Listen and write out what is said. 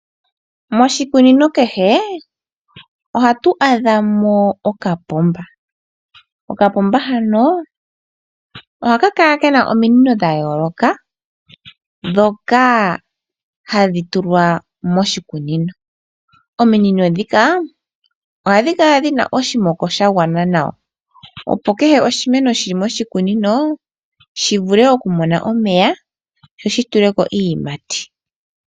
Moshikunino kehe ohatu adha mo okapomba. Okapomba hano ohaka kala ke na ominino dha yooloka ndhoka hadhi tulwa moshikunino. Ominino ndhika ohadhi kala dhi na oshimoko sha gwana nawa, opo kehe oshimeno shi li moshikunino shi vule okumona omeya sho shi tule ko iiyimati.